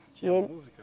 Tinha música?